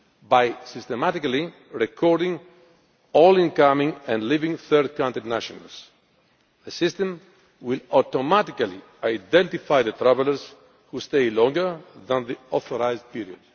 By systematically recording all incoming and outgoing third country nationals, the system will automatically identify the travellers who stay longer than the authorised period.